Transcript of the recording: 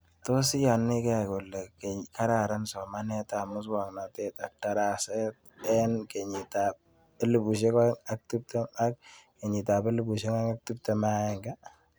Tos iyanikei kole kararan somanet ab muswognatet ak darasa eng' kenyit ab 2020/2021